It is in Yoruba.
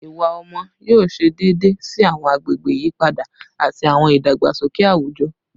Iwa ọmọ yoo ṣe deede si awọn agbegbe iyipada ati awọn idagbasoke awujọ